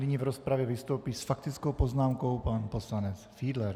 Nyní v rozpravě vystoupí s faktickou poznámkou pan poslance Fiedler.